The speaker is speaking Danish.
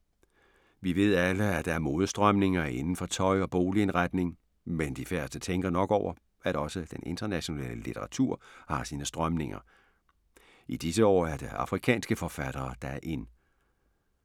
Vi ved alle, at der er er modestrømninger inden for tøj og boligindretning, men de færreste tænker nok over, at også den internationale litteratur har sine strømninger. I disse år er det afrikanske forfattere, der er in.